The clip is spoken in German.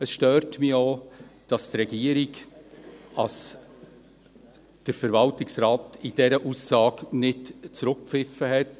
Es stört mich auch, dass die Regierung den Verwaltungsrat in dieser Aussage nicht zurückgepfiffen hat.